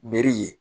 Meri ye